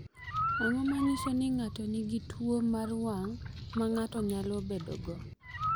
Ang’o ma nyiso ni ng’ato nigi tuwo mar wang’ ma ng’ato nyalo bedogo?